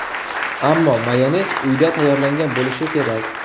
Ammo mayonez uyda tayyorlangan bo‘lishi kerak.